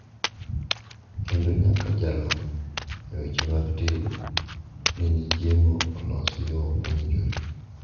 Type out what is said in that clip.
Kendo nyaka jalony e weche mag tedo ne ni chiemo olos e yo mowinjore.